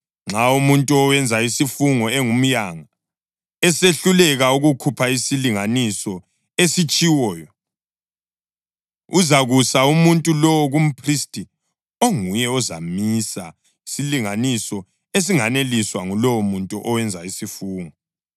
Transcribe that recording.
Nxa umuntu owenza isifungo engumyanga, esehluleka ukukhupha isilinganiso esitshiwoyo, uzakusa umuntu lowo kumphristi onguye ozamisa isilinganiso esinganeliswa ngulowomuntu owenza isifungo.